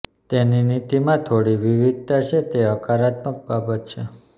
તેની નીતિમાં થોડી વિવિધતા છે તે હકારાત્મક બાબત છે